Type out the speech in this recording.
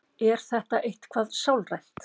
Er þetta eitthvað sálrænt?